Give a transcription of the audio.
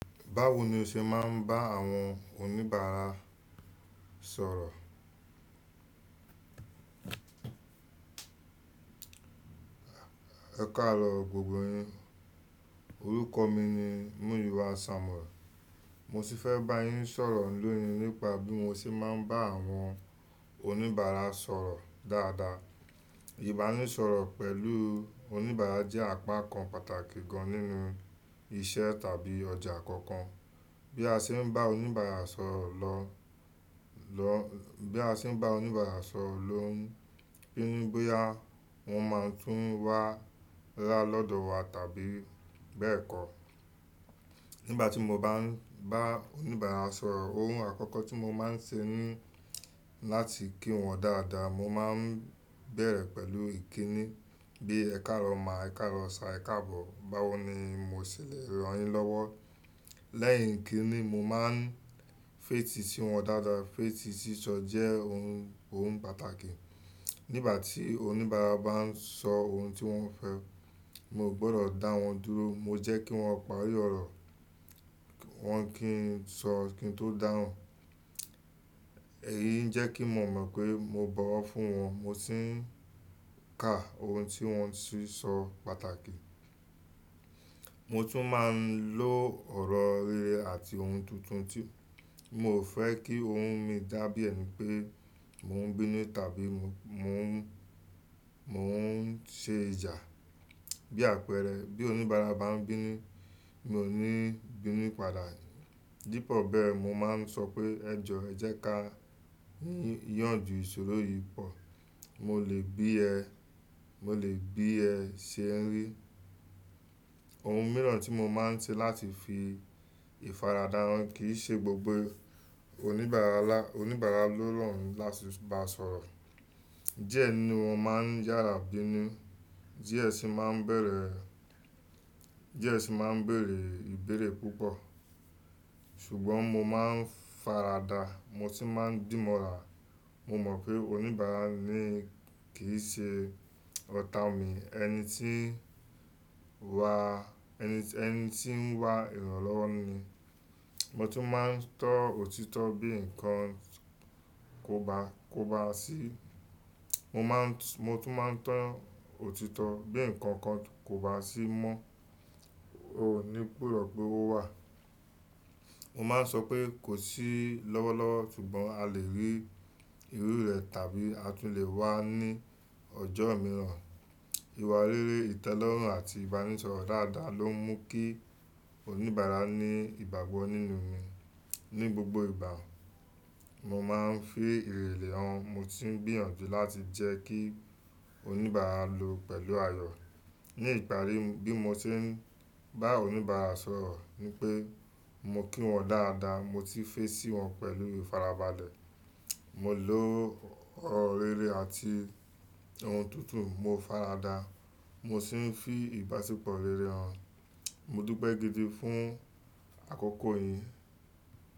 Báwo ni o ṣe máa ń bá àwọn oníbàárà sọ̀rọ̀? Ẹ káarọ gbogbo yín. Orúkọ mi ni Muyiwa Samuel. Mo sì fẹ́ bá yín sọ̀rọ̀ lónìí nípa bí mo ṣe máa ń bá àwọn oníbàárà sọ̀rọ̀ dáadáa. Ìbánisọ̀rọ̀ pẹ̀lú oníbàárà jẹ́ àpá kan pàtàkì gan-an nínú iṣẹ́ tàbí ọjà kankan. Bí a ṣe ń bá oníbàárà sọ̀rọ̀ lọ, lọ, bí a ṣe ń bá oníbàárà sọ̀rọ̀ ló ń pinnu bóyá oun máa tún wá rá lọ́dọ̀ wa tàbí bẹ́ẹ̀ kọ́. Nígbà tí mo bá ń bá oníbàárà sọ̀rọ̀, ohun àkọ́kọ́ tí mo máa ń ṣe ni láti kí wọn dáadáa. Mo máa ń bẹ̀rẹ̀ pẹ̀lú ìkíni bíi "Ẹ káarọ ma, ẹ̀ káaro sir, ẹ̀ káabọ̀. Báwo ni mo ṣè lé ran yin lọ́wọ́?" Lẹ́yìn ìkíni, mo máa ń fẹ̀ti sí wọn dáadáa. Fẹ̀ ti sísọ jẹ́ ohun, ohun pàtàkì. Nígbà tí oníbàárà bá ń sọ ohun tí wọ́n fẹ́, mi o gbọ́dọ̀ dá wọn dúró, mo jẹ́ kí wọ́n parí ọ̀rọ̀, kí wọ́n kí ń sọ kín tó dáhùn. Èyí ń jẹ́ kí mo mọ̀ pé mo bọ̀ wọ́n fún wọn, mo sì ń ka ohun tí wọ́n ti ń sọ pàtàkì. Mo tún máa ń lo ọ̀rọ̀ rere àti ohun tuntun tí mo ò fẹ́ kí ohun mi dá bí ẹ̀ní pé mo ń bínú tàbí mo ń, mo ń ṣe ìjà. Bí àpẹẹrẹ, bí oníbàárà bá ń bínú, mi ò ní bínú padà. Dípò bẹ́ẹ̀, mo máa ń sọ pé, "Ẹ jọ, ẹ jẹ́ ká yànju ìṣòro yìí pọ̀. Mo lè bí ẹ, mo lè bí ẹ ṣe ń rí." Ohun mìíràn tí mo máa ń ṣe láti fi ìfaradà hàn kì í ṣe gbogbo oníbàárà la, oníbàárà ló rọrùn láti bá sọ̀rọ̀. Diẹ ni wọ́n máa ń yára bínú, diẹ sì máa ń bẹ̀rẹ̀, diẹ sì máa ń béèrè ìbéèrè púpọ̀. Ṣùgbọ́n mo máa ń faradà, mo sì máa ń dìmọ̀ rà. Mo mọ̀ pé oníbàárà ni kì í ṣe ọ̀tá mi, ẹni tí ń wá, ẹni, ẹni tí ń wá ìrànlọ́wọ́ ni. Mo tún máa ń tọ́ òtítọ́ bí nǹkan kò bá, kò bá sí. Mo máa ń, mo tún máa ń tọ́ òtítọ́ bí nǹkan kàn kò bá sí mọ́. O ò ní gbọ́dọ̀ pé ó wà. Mo máa ń sọ pé kò sí lọ́wọ́lọ́wọ́, ṣùgbọ́n a lè rí irú rẹ̀ tàbí a tún lè wá ní ọjọ́ mìíràn. Ìwà rere, ìtẹ́lọ́rùn àti ìbánisọ̀rọ̀ dáadáa ló ń mú kí oníbàárà ní ìgbàgbọ́ nínú mi. Ni gbogbo ìgbà, mo máa ń fi ìrẹ̀lẹ̀ hàn, mo sì ń gbìyànjú láti jẹ́ kí oníbàárà lo pẹ̀lú ayọ̀. Ni ìparí, bí mo ṣe ń bá oníbàárà sọ̀rọ̀ ni pé mo kí wọn dáadáa, mo sì fẹ̀ sí wọn pẹ̀lú ìfarabalẹ̀. Mo lo ọ̀rọ̀ rere àti ohun tuntun, mo faradà, mo sì ń fi ìbáṣepọ̀ rere hàn. Mo dúpẹ̀ gidi fún àkókò yín.